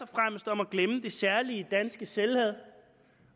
fremmest om at glemme det særlige danske selvhad